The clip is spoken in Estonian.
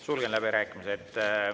Sulgen läbirääkimised.